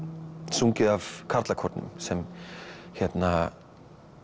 sungið af karlakórnum sem hérna